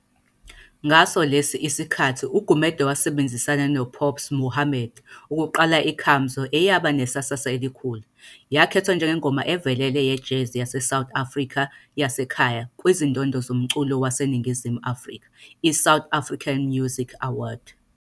Ngase lesi iskhathi uGumede wabenzisana no Pops Mohamed ukuqala iKamamzoo eyaba nesasa elikhulu. Yakhethwa njengengoma evelele yejazz yaseSouth Africa yaseKhaya kwizindondo zomculo waseNingizimu Afrika, "South African MUsic Awards".